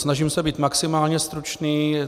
Snažím se být maximálně stručný.